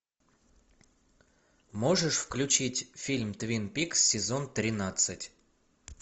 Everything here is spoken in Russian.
можешь включить фильм твин пикс сезон тринадцать